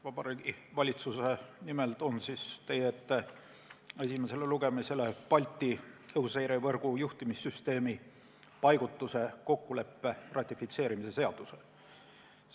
Vabariigi Valitsuse nimel toon teie ette esimesele lugemisele Eesti Vabariigi valitsuse, Leedu Vabariigi valitsuse ja Läti Vabariigi valitsuse vahelise Balti õhuseirevõrgu ja juhtimissüsteemi paigutuse kokkuleppe ratifitseerimise seaduse eelnõu.